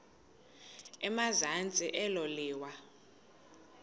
emazantsi elo liwa